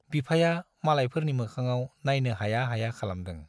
बिफाया मालायफोरनि मोखाङाव नाइनो हाया हाया खालामदों।